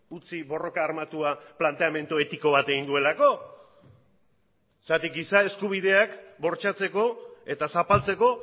utzi borroka armatua planteamendu etiko bat egin duelako zergatik giza eskubideak bortxatzeko eta zapaltzeko